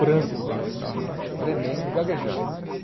branco dentro do carro, tremendo, gaguejando.